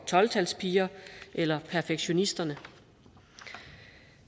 tolv talspigerne eller perfektionisterne